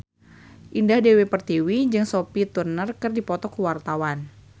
Indah Dewi Pertiwi jeung Sophie Turner keur dipoto ku wartawan